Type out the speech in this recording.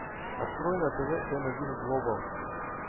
открой на тв эм один глобал